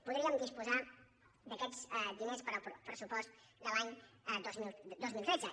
podríem disposar d’aquests diners per al pressupost de l’any dos mil tretze